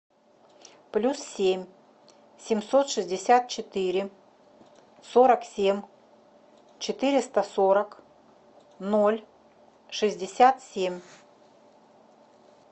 плюс семь семьсот шестьдесят четыре сорок семь четыреста сорок ноль шестьдесят семь